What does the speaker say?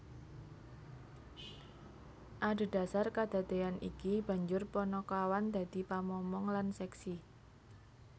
Adhedasar kadadeyan iki banjur panakawan dadi pamomong lan seksi